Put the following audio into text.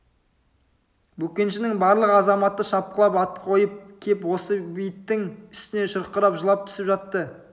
бөкеншінің барлық азаматы шапқылап ат қойып кеп осы бейіттің үстіне шұрқырап жылап түсіп жатты